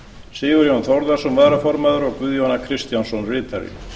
sigurjón þórðarson varaformaður guðjón a kristjánsson ritari